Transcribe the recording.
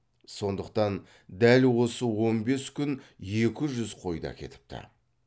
сондықтан дәл осы он бес күн екі жүз қойды әкетіпті